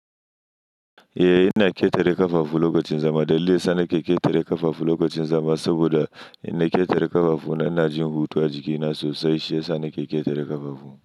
Eh, ina ƙetare ƙafafu lokacin zama. Dalili yana keketare ƙafafu lokacin zama saboda in na ƙetare ƙafafu na, ina jin hutu a jikina sosai, shi ya sa nake ƙetare ƙafafu.